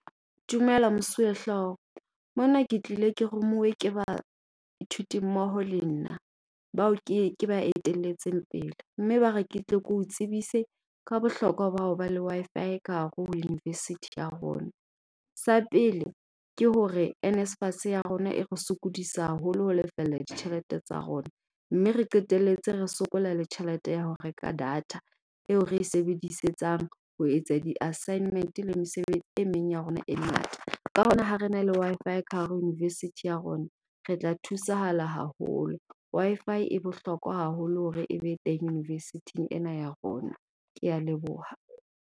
Dumela Mosuwehlooho. Mona ke tlile ke rumuwe ke baithuti mmoho le nna bao ke ke ba etelletseng pele. Mme ba re ke tle keo tsebise ka bohlokwa bao ho ba le wi-Fi ka hare ho university ya rona. Sa pele ke hore NSFAS ya rona e re sokodisa haholo ho lefella ditjhelete tsa rona. Mme re qeteletse re sokola le tjhelete ya ho reka data eo re e sebedisetsang ho etsa di-assignment le e meng ya rona e ngata. Ka hona ha re na le wi-Fi ka hare university ya rona, re tla thusahala haholo. Wi-Fi e bohlokwa haholo hore e be teng university-eng ena ya rona. Kea leboha.